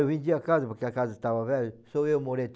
Eu vendi a casa, porque a casa estava velha, só eu morei